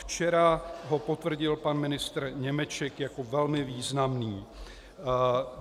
Včera ho potvrdil pan ministr Němeček jako velmi významný.